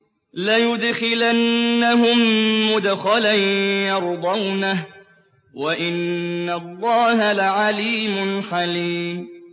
لَيُدْخِلَنَّهُم مُّدْخَلًا يَرْضَوْنَهُ ۗ وَإِنَّ اللَّهَ لَعَلِيمٌ حَلِيمٌ